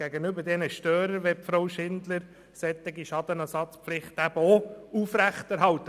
Grossrätin Schindler will die Schadenersatzpflichten gegenüber diesen Störern aufrechterhalten.